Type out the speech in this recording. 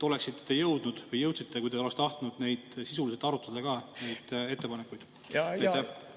Oleksite te jõudnud, kui te oleks tahtnud, ettepanekuid arutada või kas te jõudsite neid ettepanekuid sisuliselt arutada?